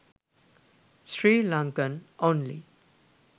srilankan only